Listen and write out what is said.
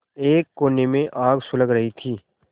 एक कोने में आग सुलग रही थी